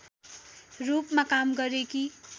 रूपमा काम गरेकी